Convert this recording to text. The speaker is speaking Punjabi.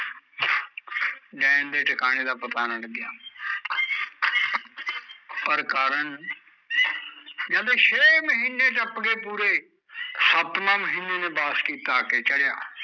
ਨੈਣ ਦੇ ਟਿਕਾਣੇ ਦਾ ਪਤਾ ਨਾ ਲੱਗਿਆ ਪਰ ਕਾਰਣ ਕਹਿੰਦੇ ਛੇ ਮਹੀਨੇ ਟੱਪ ਗੇ ਪੂਰੇ ਸੱਤਵਾਂ ਮਹੀਨਾ ਨੇ ਆ ਕੇ ਚੜਿਆ